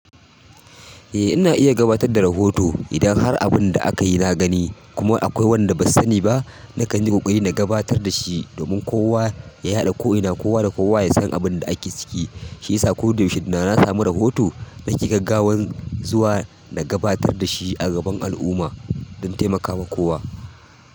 Eh ina iya gabatar da rahoto idan har abun da aka yi na gani kuma akwai wanda ba sani ba, na kan yi ƙoƙari na gabatar da shi domin kowa ya yaɗa ko'ina kowa da kowa ya san abin da ake ciki. Shi ya sa koda yaushe idan na samu rahoto na ke gaggawa zuwa na gabatar da shi a gaban al'umma don taimaka wa kowa.